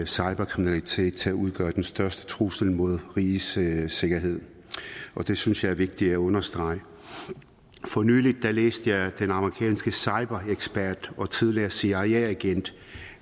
cyberkriminalitet til at udgøre den største trussel mod rigets sikkerhed sikkerhed og det synes jeg er vigtigt at understrege for nylig læste jeg den amerikanske cyberekspert og tidligere cia agent